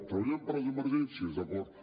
treballem per les emergències d’acord